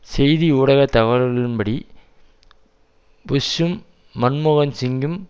செய்தி ஊடக தகவல்களின்படி புஷ்ஷும் மன்மோகன் சிங்கும்